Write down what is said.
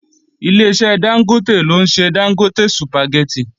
Ileṣẹ́ Dángótè ló ń ṣe Dángótè sùpàgẹ́tì